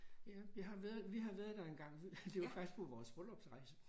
Ja jeg har været vi har været der engang det var faktisk på vores bryllupsrejse